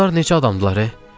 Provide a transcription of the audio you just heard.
Bunlar necə adamdılar?